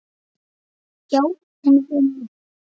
Já, hún er inni.